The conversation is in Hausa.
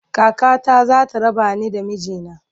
Kakata za ta raba ni da miji na.